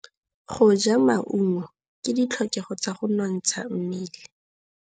Go ja maungo ke ditlhokegô tsa go nontsha mmele.